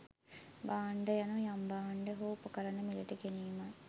භාණ්ඩ යනු යම් භාණ්ඩ හෝ උපකරණ මිලට ගැනීමයි